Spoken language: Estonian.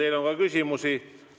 Teile on ka küsimusi.